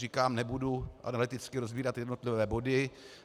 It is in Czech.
Říkám, nebudu analyticky rozebírat jednotlivé body.